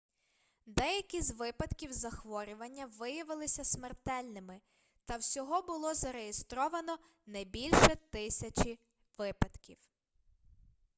деякі з випадків захворювання виявилися смертельними та всього було зареєстровано не бульше тисячі випадків